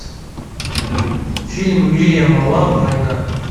фильма уильяма лау война